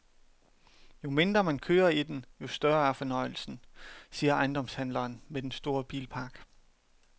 Jo mindre man kører i den, jo større er fornøjelsen, siger ejendomshandleren med den store bilpark.